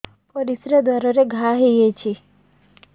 ପରିଶ୍ରା ଦ୍ୱାର ରେ ଘା ହେଇଯାଇଛି